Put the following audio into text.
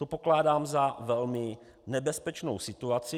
To pokládám za velmi nebezpečnou situaci.